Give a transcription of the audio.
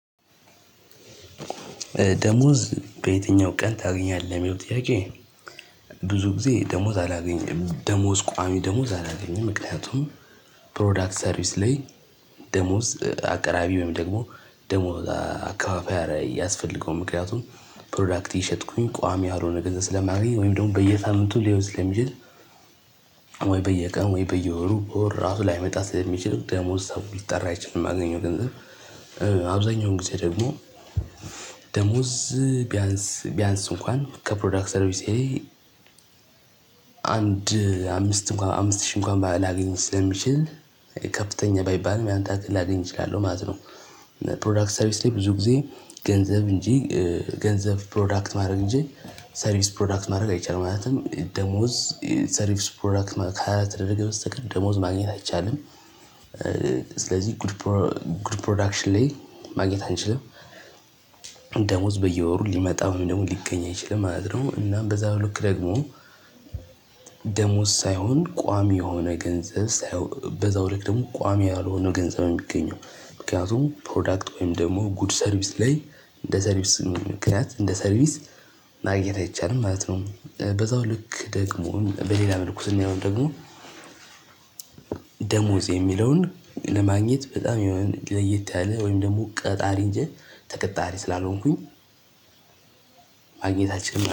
ደሞዝ በየትኛው ቀን ታገኛለህ ሚለው ጥያቄ? ብዙ ጊዜ ደሞዝ አላገኝም ደሞዝ ቋሚ ደሞዝ አላገኝም ምክንያቱም ፕሮዳክት ሰርቪስ ላይ ደሞዝ አቅራቢ ወይም ደግሞ ደሞዝ አካፋፈይ አረ አያስፈልገውም ምክንያቱም ፕሮዳክት እየሸጥኩኝ ቋሚ ያልሆነ ገንዘብ ስለማገኝ ወይም ደግሞ በየሳምንቱ ሊሆን ስለሚችል። ወይ በየቀኑ ወይ በየወሩ ወር ራሱ ላይመጣ ስለሚችል ደሞዝ ሰው ሊጠራ አይችልም የማገኘው ገንዘብ። አብዛኛውም ጊዜ ደግሞ ደሞዝ ቢያንስ ቢያንስ እንኳን ከፕሮዳክት ሰርቪሴ። አንድ አምስት እንኳን አምስት ሺህ እንኳን ላገኝ ስለሚችል ከፍተኛ ባይባልም ያን ታክል ላገኝ እችላለሁ ማለት ነው። ፕሮዳክት ሰርቪስ ላይ ብዙ ጊዜ ገንዘብ እንጂ ገንዘብ ፕሮዳክት ማድረግ እንጂ ሰርቪስ ፕሮዳክት ማድረግ አይቻልም ማለትም ደሞዝ ሰርቪስ ፕሮዳክት ከሃያ ከልተደረገ በስተቀር ደሞዝ ማግኘት አይቻልም። ስለዚህ ጉድ ፕሮ ጉድ ፕሮዳክሽን ላይ ማግኘት አንችልም። ደሞዝ በየወሩ ሊመጣ ወይም ሊገኝ አይችልም ማለት ነውአይደለም እና በዛው ልክ ደግሞ ደሞዝ ሳይሆን ቋሚ የሆነ ገንዘብ። በዛው ልክ ደግሞ ቋሚ ያልሆነ ገንዘብ ሚገኘው ምክንያቱም ፕሮዳክት ወይም ደግሞ ጉድ ሰርቪስ ላይ እንደ ሰርቪስ ምክንያት እንደ ሰርቪስ ማግኘት አይቻልም ማለት ነው። በዛው ልክ ደግሞ በሌላ መልኩ ስናየውም ደግሞ ደሞዝ የሚለውን ለማግኘት በጣም የሆነ ለየት ያለ ወይም ደግሞ ቃጣሪ እንጂ ተቀጣሪ ስላልሆንኩኝ። ማግኘት አልችልም